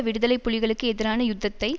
விடுதலை புலிகளுக்கு எதிரான யுத்தத்தை